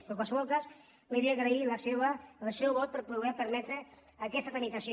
però en qualsevol cas li vull agrair el seu vot per poder permetre aquesta tramitació